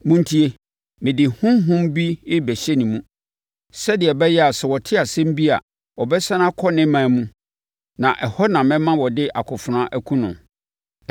Montie! Mede honhom bi rebɛhyɛ ne mu, sɛdeɛ ɛbɛyɛ a sɛ ɔte asɛm bi a ɔbɛsane akɔ ne ɔman mu na ɛhɔ na mɛma wɔde akofena akum no.’ ”